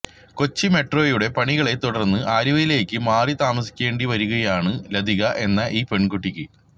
കൊച്ചി മെട്രോയുടെ പണികളെ തുടര്ന്ന് ആലുവയിലേക്ക് മാറി താമസിക്കേണ്ടി വരികയാണ് ലതിക എന്ന ഈ പെണ്കുട്ടിക്ക്